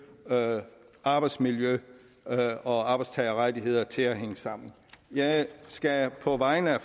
arbejdsmiljø og arbejdstagerrettigheder til at hænge sammen jeg skal på vegne af